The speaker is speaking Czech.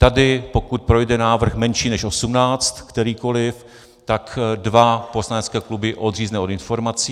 Tady, pokud projde návrh menší než 18, kterýkoliv, tak dva poslanecké kluby odřízne od informací.